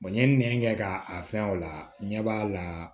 n ye nɛn kɛ ka a fɛn o la ɲɛ b'a la